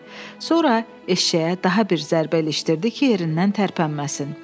Sonra eşşəyə daha bir zərbə ilişdirdi ki, yerindən tərpənməsin.